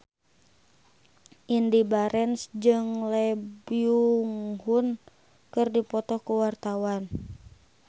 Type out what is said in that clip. Indy Barens jeung Lee Byung Hun keur dipoto ku wartawan